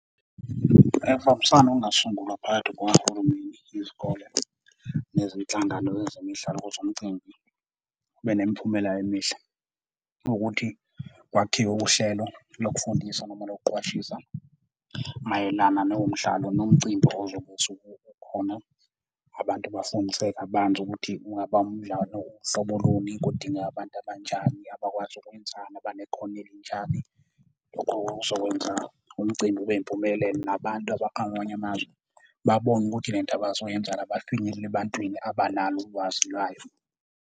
Ukubambisana okungasungulwa phakathi kukahulumeni, izikole nezinhlangano ezemidlalo ukuze umcimbi ube nemiphumela emihle ukuthi kwakhiwe uhlelo lokufundisa noma lokuqwashisa mayelana nomdlalo nomcimbi ozobe usuke ukhona. Abantu bafundiseke kabanzi ukuthi kungaba kunjani, uhlobo luni, kudingeka abantu abanjani abakwazi ukwenzani, abanekhono elinjani, okuzokwenza umcimbi ube impumelelo. Nabantu abakwamanye amazwi babone ukuthi lento abazoyenza la bafinyelele ebantwini abanalo ulwazi lwayo.